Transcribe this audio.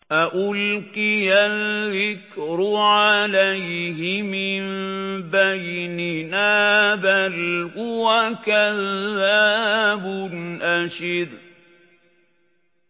أَأُلْقِيَ الذِّكْرُ عَلَيْهِ مِن بَيْنِنَا بَلْ هُوَ كَذَّابٌ أَشِرٌ